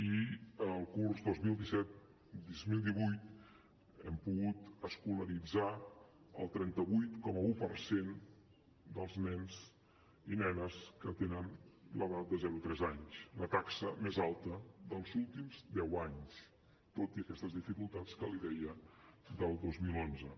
i el curs dos mil disset dos mil divuit hem pogut escolaritzar el trenta vuit coma un per cent dels nens i nenes que tenen l’edat de zero a tres anys la taxa més alta dels últims deu anys tot i aquestes dificultats que li deia del dos mil onze